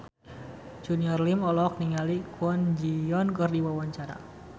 Junior Liem olohok ningali Kwon Ji Yong keur diwawancara